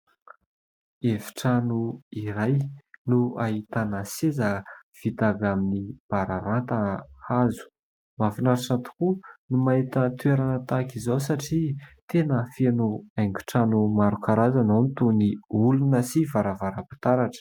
Efitrano iray no ahitana seza vita avy amin'ny bararata hazo. Mahafinaritra tokoa ny mahita toerana tahaka izao satria tena feno haingon-trano maro karazana ; ao ny toy ny olona sy varavaram-pitaratra.